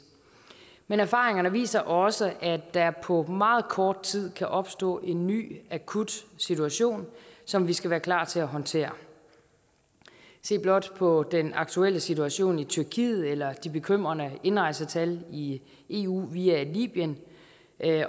men erfaringerne viser også at der på meget kort tid kan opstå en ny akut situation som vi skal være klar til at håndtere se blot på den aktuelle situation i tyrkiet eller de bekymrende indrejsetal i eu via libyen